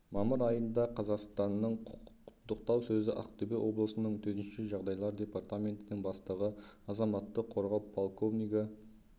мамыр айында қазақстанның құттықтау сөзі ақтөбе облысының төтенше жағдайлар департаментінің бастығы азаматтық қорғау подполковнигі